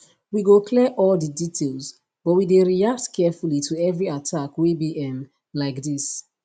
we go clear all di details but we dey react carefully to every attack wey be um like dis